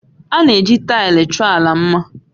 A na-eji taịlị chọọ ala mma